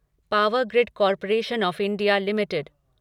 power grid corporation of India limited